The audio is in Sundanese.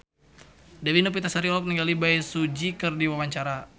Dewi Novitasari olohok ningali Bae Su Ji keur diwawancara